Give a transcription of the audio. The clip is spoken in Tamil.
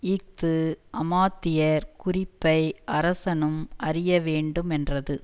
இஃது அமாத்தியர் குறிப்பை அரசனும் அறிய வேண்டுமென்றது